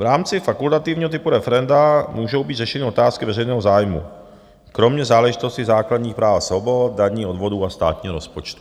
V rámci fakultativního typu referenda můžou být řešeny otázky veřejného zájmu, kromě záležitostí základních práv a svobod, daní, odvodů a státního rozpočtu.